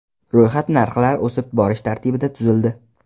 Ro‘yxat narxlar o‘sib borish tartibida tuzildi.